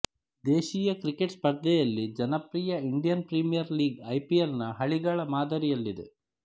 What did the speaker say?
ದೇಶೀಯ ಕ್ರಿಕೆಟ್ ಸ್ಪರ್ಧೆಯಲ್ಲಿ ಜನಪ್ರಿಯ ಇಂಡಿಯನ್ ಪ್ರೀಮಿಯರ್ ಲೀಗ್ ಐಪಿಎಲ್ ನ ಹಳಿಗಳ ಮಾದರಿಯಲ್ಲಿದೆ